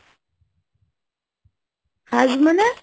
Haze মানে,